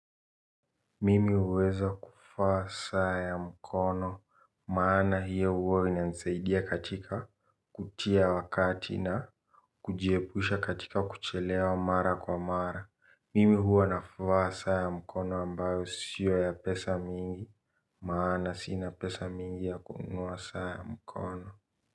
Mimi huweza kuvaa saa ya mkono, maana hiyo huwa inanisaidia katika kutia wakati na kujiepusha katika kuchelewa mara kwa mara. Mimi huwa navaa saa ya mkono ambayo sio ya pesa mingi, maana sina pesa mingi ya kununua saa ya mkono.